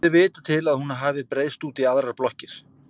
Ekki er vitað til að hún hafi breiðst út í aðrar blokkir.